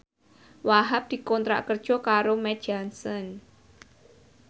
Wahhab dikontrak kerja karo Mead Johnson